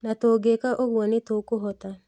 Na tũngĩĩka ũguo nĩ tũkũhota